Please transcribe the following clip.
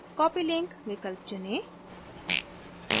copy link विकल्प चुनें